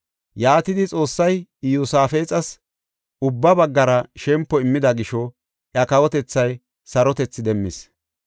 Yaatidi Xoossay Iyosaafexas ubba baggara shempo immida gisho iya kawotethay sarotethi demmis.